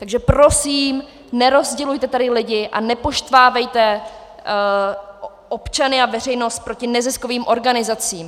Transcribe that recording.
Takže prosím, nerozdělujte tady lidi a nepoštvávejte občany a veřejnost proti neziskovým organizacím.